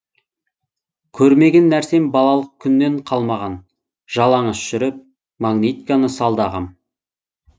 көрмеген нәрсем балалық күннен қалмаған жалаңаш жүріп магнитканы салды ағам